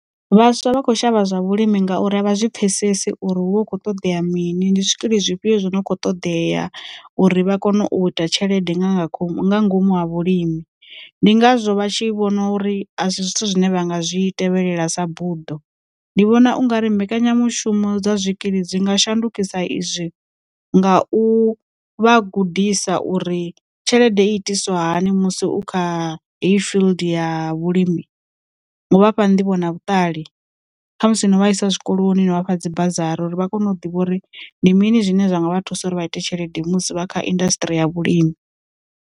Vhaswa vha kho shavha zwa vhulimi ngauri a vha zwi pfhesesi uri hu vha hu khou ṱoḓea mini ndi zwikili zwifhio zwo no kho ṱoḓea, uri vha kone u ita tshelede nga nga khomu nga ngomu ha vhulimi, ndi ngazwo vha tshi vhona uri a si zwithu zwine vha nga zwi tevhelela sa buḓo. Ndi vhona ungari mbekanyamushumo dza zwikili dzi nga shandukisa izwi, nga u vha gudisa uri tshelede itiswa hani musi u kha heyi field ya vhulimi, ngo vhafha ndi vhona vhuṱali kha musi no vha isa zwikoloni no vhafha dzi biro uri vha kone u ḓivha uri ndi mini zwine zwa nga vha thusa uri vha ite tshelede musi vha kha indasṱri ya vhulimi.